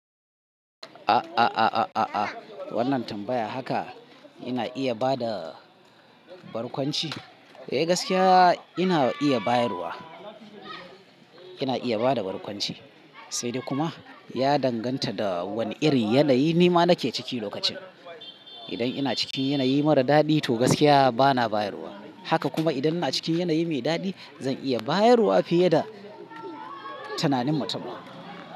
A'a, wannan tambayar haka ina iya ba da barkwanci. Eh gaskiya ina iya bayarwa, ina iya ba da barkwanci, sai dai kuma ya danganta da wane irin yanayi ni ma nake ciki lokacin. Idan ina cikin yanayi mara daɗi to gaskiya bana bayarwa. Haka kuma idan ina cikin yanayi mai daɗi zan iya bayarwa fiye da tunanin mutum.